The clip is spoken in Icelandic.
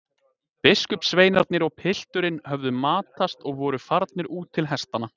Biskupssveinarnir og pilturinn höfðu matast og voru farnir út til hestanna.